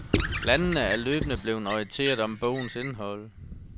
Landene er løbende blevet orienteret om bogens indhold.